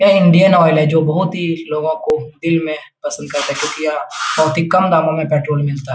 ये Indian Oil है जो बहुत ही लोगों को दिल में पसंद करता क्योंकि यहाँ बहुत ही कम दामों में पेट्रोल मिलता --